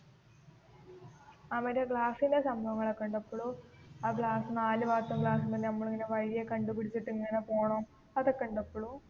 ആ മറ്റേ ഗ്ലാസ്സൻറെ സംഭവങ്ങൾ ഒക്കേ ഉണ്ടോ ഇപ്പോളും ആ ഗ്ലാസ് നാല് വാട്ടർ ഗ്ലാസ് നമ്മൾ ഇങ്ങനെ വഴി ഒക്കേ കണ്ടു പിടിച്ചിട്ടു ഇങ്ങനെ പോണം അതൊക്കെ ഉണ്ടോ ഇപ്പോളും